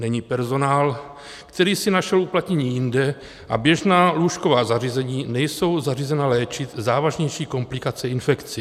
Není personál, který si našel uplatnění jinde, a běžná lůžková zařízení nejsou zařízena léčit závažnější komplikace infekcí.